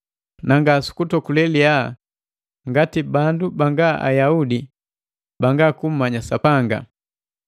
na nga su kutokule liyaa ngati bandu banga Ayaudi banga kummanya Sapanga.